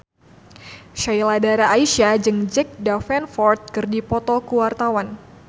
Sheila Dara Aisha jeung Jack Davenport keur dipoto ku wartawan